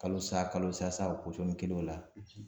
Kalosa kalosa sa o posɔni kelen o la